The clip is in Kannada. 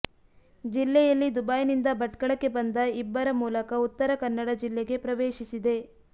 ಜಿಲ್ಲೆಯಲ್ಲಿ ದುಬೈ ನಿಂದ ಭಟ್ಕಳಕ್ಕೆ ಬಂದ ಇಬ್ಬರ ಮೂಲಕ ಉತ್ತರ ಕನ್ನಡ ಜಿಲ್ಲೆಗೆ ಪ್ರವೇಶಿಸಿದೆ